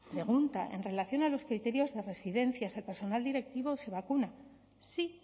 pregunta en relación a los criterios de residencias si el personal directivo se vacuna sí